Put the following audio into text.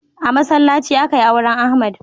A masallaci akai auren Ahmad.